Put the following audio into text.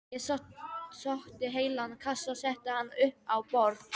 Ég sótti heilan kassa og setti hann upp á borð.